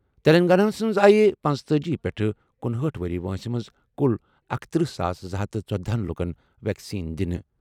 تیٚلنٛگاناہس منٛز آیہِ پنژتأجی پیٹھ کنُہأٹھ وُہُر وٲنٛسہِ منٛز کُل اکتٔرہ ساس زٕ ہتھ تہٕ ژۄدَہ لُکن ویکسیٖن دِنہٕ۔